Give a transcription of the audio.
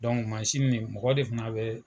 Dɔnku mansin nin mɔgɔ de fana bɛ